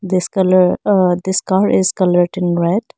this colour aa this car is coloured in red.